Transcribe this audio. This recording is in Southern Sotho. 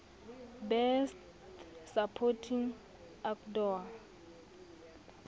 best supporting actor